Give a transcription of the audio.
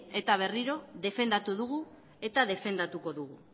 eta berriro defendatu dugu eta defendatuko dugu